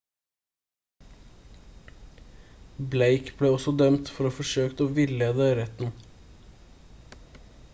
blake ble også dømt for å ha forsøkt å villede retten